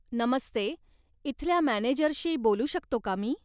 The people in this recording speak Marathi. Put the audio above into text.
नमस्ते, इथल्या मॅनेजरशी बोलू शकतो का मी?